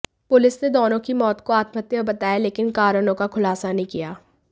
police ने दोनों की मौत को आत्महत्या बताया है लेकिन कारणों का खुलासा नहीं किया